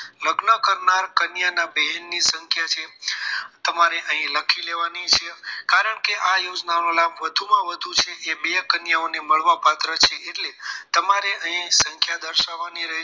લગ્ન કરનાર કન્યા ના બહેનની સંખ્યા છે તમારે અહીં લખી લેવાની છે કારણ કે આ યોજનાઓના લાભ વધુમાં વધુ છે એ બે કન્યાઓને મળવા પાત્ર છે એટલે તમારે અહીં સંખ્યા દર્શાવવાની રહેશે